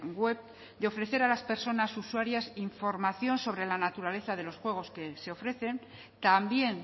web de ofrecer a las personas usuarias información sobre la naturaleza de los juegos que se ofrecen también